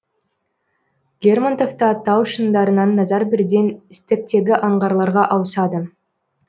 лермонтовта тау шыңдарынан назар бірден стектегі аңғарларға ауысады